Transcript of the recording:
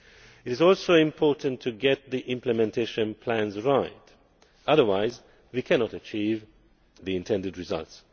It is also important to get the Implementation Plans right, otherwise we cannot achieve the intended results.